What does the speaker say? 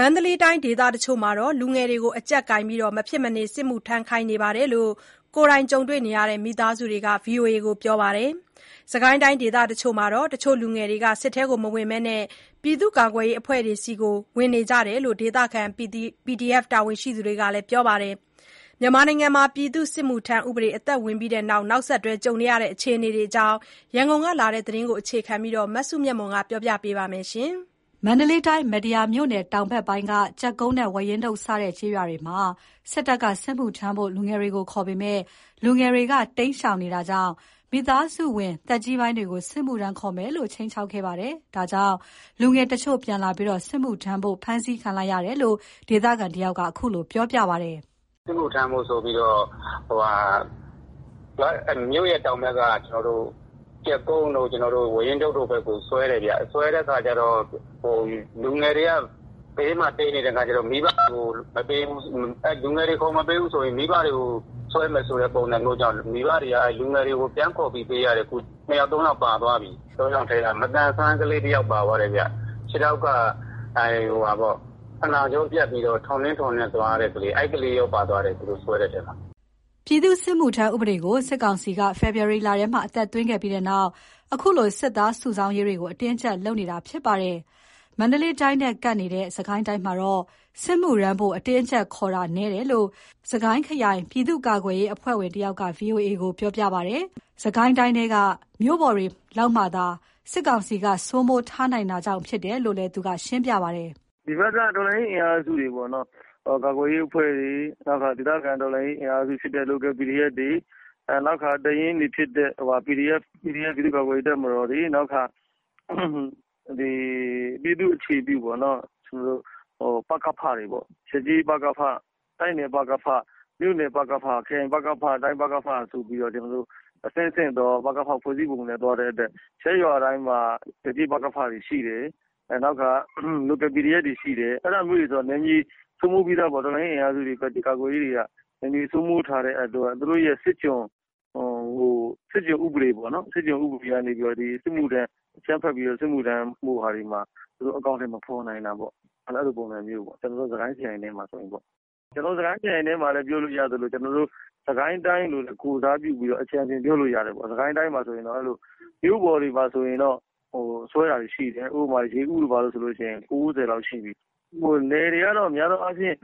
မန္တလေးတိုင်း ဒေသတချို့မှာ လူငယ်တွေကို အကြပ်ကိုင်ပြီး မဖြစ်မနေ စစ်မှုထမ်းခိုင်းနေကြောင်း ကိုယ်တိုင်ကြုံတွေ့ရတဲ့ မိသားစုတွေက ဗွီအိုအေကို ပြောပါတယ်။ စစ်ကိုင်းတိုင်းဒေသတချို့မှာတော့ တချို့လူငယ်တွေဟာ စစ်ထဲမဝင်ဘဲ ပြည်သူ့ကာကွယ်ရေးအဖွဲ့တွေထဲ ဝင်နေကြတယ်လို့ ဒေသခံ PDF တာ၀န်ရှိသူတွေက ပြောပြပါတယ်။ ပြည်သူ့စစ်မှုထမ်း ဥပဒေအသက်ဝင်ပြီးနောက်ဆက်တွဲ အခြေအနေတွေအကြောင်း ရန်ကုန်ကလာတဲ့ သတင်းကိုအခြေခံပြီး မစုမြတ်မွန်က တင်ပြပါမယ်။ မန္တလေးတိုင်း မတ္တရာမြို့နယ် တောင်ဖက်ပိုင်းက ကြတ်ကုန်းနဲ့ ဝါးရင်းတုတ်စတဲ့ ကျေးရွာတွေမှာ စစ်တပ်က စစ်မှုထမ်းဖို့ လူငယ်တွေကို ခေါ်ပေမယ့် လူငယ်တွေက တိမ်းရှောင်နေတာကြောင့် မိသားစုဝင်သက်ကြီးပိုင်းတွေကို စစ်မှုထမ်းခေါ်မယ်လို့ ခြိမ်းခြောက်ခဲ့တဲ့အတွက် လူငယ်တချို့ ပြန်လာပြီး စစ်မှုထမ်းဖို့ ဖမ်းဆီးခံလိုက်ရတယ်လို့ ဒေသခံတစ်ဦးက ခုလိုပြောပါတယ်။ “စစ်မှုထမ်းဖို့ ဆိုပြီးတော့ မြို့ရဲ့ တောင်ဖက်က ကြတ်ကုန်းတို့ ဝါးရင်းတုတ်တို့ဖက်ကို ဆွဲတယ်ဗျ။ ဆွဲတဲ့ခါကျတော့ လူငယ်တွေက ဘေးမှာ တိမ်းနေတဲ့ခါကျတော့ လူငယ်တွေကို မပေးဘူးဆိုရင် မိဘတွေကို ဆွဲမယ်ဆိုတာမျိုးကြောင့် မိဘတွေကို လူငယ်တွေကို ပြန်ခေါ်ပြီး ပေးရတယ်အခု။ ၂ ယောက် ၃ ယောက် ပါသွားပြီ။ ၃ ယောက်ထဲမှာ မသန်စွမ်း ကလေးတစ်ယောက်ပါသွားတယ်ဗျ။ ခြေထောက်က ဖနောင့်ကြောပြတ်ပြီးတော့ ထော့နဲ့ ထောနဲ့ သွားနေရတဲ့ ကလေး၊ အဲ့ကလေးရော ပါသွားတယ်အခု။” ပြည်သူ့စစ်မှုထမ်း ဥပဒေကို စစ်ကောင်စီက ဖေဖော်ဝါရီလထဲမှာ အသက်သွင်းခဲ့ပြီးနောက် ခုလို စစ်သားစုဆောင်းရေးတွေကို အတင်းအကြပ်လုပ်နေတာဖြစ်ပါတယ်။ မန္တလေးတိုင်းနဲ့ ကပ်နေတဲ့ စစ်ကိုင်းတိုင်းမှာတော့ စစ်မှုထမ်းဖို့ အတင်းအကြပ်ခေါ်တာမျိုး နည်းတယ်လို့ စစ်ကိုင်းခရိုင် ပြည်သူ့ကာကွယ်ရေးအဖွဲ့ဝင်တစ်ဦးက VOA ကိုပြောပါတယ်။ စစ်ကိုင်းတိုင်းထဲက မြို့ပေါ်တွေမှာလောက်သာ စစ်ကောင်စီက စိုးမိုးထားနိုင်တာကြောင့်ဖြစ်တယ်လို့ သူကခုလို ရှင်းပြပါတယ်။ “ဒီဖက်က တော်လှန်ရေး အင်အားစုတွေပေါ့နော်၊ ဒေသကာကွယ်ရေး အဖွဲ့တွေ နောက် ဒေသခံဖြစ်တဲ့ Local PDF နောက်တခါ တပ်ရင်းတွေဖြစ်တဲ့ PDF ပြည်သူ့ကာကွယ်ရေး တပ်မတော်တွေ၊ နောက် ပြည်သူ့အခြေပြု ပကဖ တွေပေါ့။ ရပ်ကျေး ပကဖ၊ တိုက်နယ် ပကဖ၊ မြို့နယ်ပကဖ၊ ခရိုင်ပကဖ၊ တိုင်း ပကဖ ဆိုပြီးတော့ အဲ့လို အဆင့်ဆင့်သော ပကဖ ဖွဲ့စည်းပုံနဲ့ သွားတဲ့အတွက် ရပ်ရွာတိုင်းမှာ ရပ်ကျေး ပကဖတွေ ရှိတယ်။ local PDF တွေ ရှိတယ် အဲ့လိုဆိုတော့ ဒီလို တော်လှန်ရေး အင်အားစုတွေက နယ်မြေစိုးမိုးထားတဲ့အတွက် သူတို့ရဲ့ စစ်ကျွန်ဥပဒေကနေ အကြမ်းဖက်ပြီး စစ်မှုထမ်းဖို့ကို အကောင်းအထည် မဖော်နိုင်တာပေါ့။ အဲ့လိုပေါ့ ကျွန်တော်တို့စစ်ကိုင်း ခရိုင်ထဲမှာတော့။ ကျွန်တော်တို့ စစ်ကိုင်းခရိုင်မှာလည်း ပြောလို့ရသလို စစ်ကိုင်းတိုင်း အနေနဲ့လည်း ပြောလို့ရတယ်။ စစ်ကိုင်းတိုင်းမှာက မြို့ပေါ်တွေမှာ ဆိုရင်တော့ ဆွဲတာတွေရှိတယ်။ ရေဉီးတို့ဘာတို့ဆိုရင်တော့ ဆွဲတာ ၉၀ လောက်ရှိပြီ။ နယ်တွေကတော့ များသောအားဖြင့်